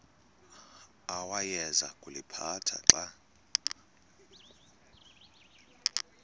awayeza kuliphatha xa